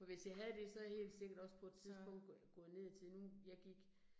For hvis jeg havde det, så havde jeg helt sikkert også på et tidspunkt gået ned i tid, nu, jeg gik